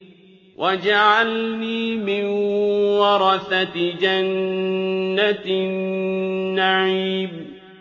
وَاجْعَلْنِي مِن وَرَثَةِ جَنَّةِ النَّعِيمِ